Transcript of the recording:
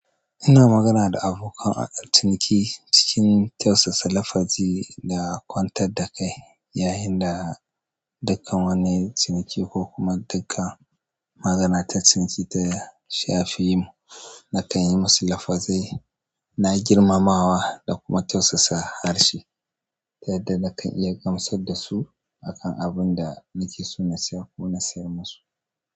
Ina magana da abokan ciniki cikin tausasa, lafazi da kwantar da kai. Yayin da dukan wani ciniki ko kuma dukan magana ta ciniki ta shafi mu, na kan yi musu lafazai na girmamawa da kuma tausasa harshe. Yadda nakan iya gamsar da su akan abin da na keso na saya ko na sayar musu.